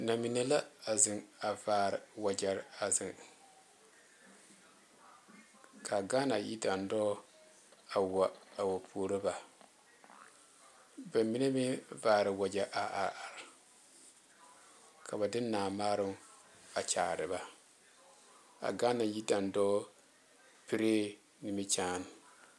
Na mine la a zeŋ a vaare wagyere a zeŋ ka Ghana yidandɔɔ a wa a wa puori ba ba mine meŋ vaare wagye a are ka ba de Naa maaroŋ a kyaare ba a Ghana yidandɔɔ piree niminyaan